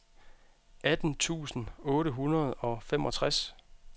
atten tusind otte hundrede og femogtres